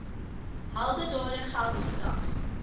heldedade geld vandag